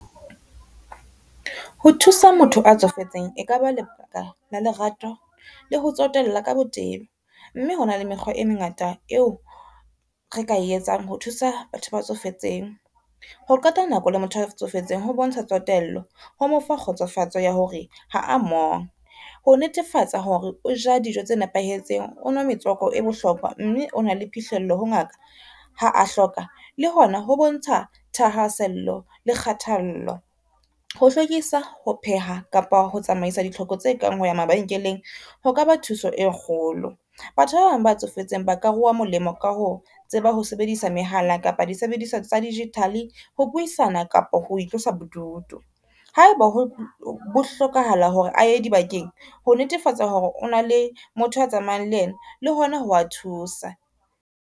Ho thusa motho a tsofetseng e ka ba lebaka la lerato le ho tsotella ka botebo, mme hona le mekgwa e mengata eo re ka e etsang ho thusa batho ba tsofetseng. Ho qeta nako le motho a tsofetseng ho bontsha tsotello ho mo fa kgotsofatso ya hore ha a mong, ho netefatsa hore o ja dijo tse nepahetseng, o nwa metswako e bohlokwa, mme o na le phihlello ho ngaka ha a hloka le hona ho bontsha thahaasello le kgathallo. Ho hlwekisa, ho pheha kapa ho tsamaisa ditlhoko tse kang ho ya mabenkeleng, ho ka ba thuso e kgolo. Batho ba bang ba tsofetseng ba ka ruwa molemo ka ho tseba ho sebedisa mehala kapa disebediswa tsa digital-e ho buisana kapa ho itlosa bodutu. Ha e ba ho hlokahala hore a ye di bakeng ho netefatsa hore o na le motho a tsamayang le ena le hona ho wa thusa.